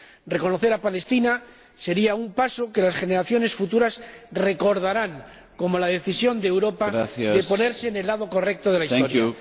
Reconocer a Palestina será un paso que las generaciones futuras recordarán como la decisión de Europa de ponerse en el lado correcto de la Historia.